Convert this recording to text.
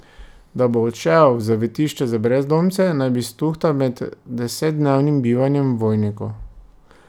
Da bo odšel v zavetišče za brezdomce, naj bi stuhtal med desetdnevnim bivanjem v Vojniku.